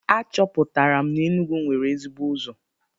Achọpụtara m na Enugwu nwere ezigbo ụzọ.